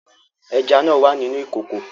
Ẹja náà wà nínú ìkòkò